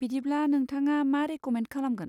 बिदिब्ला, नोंथाङा मा रेक'मेन्द खालामगोन।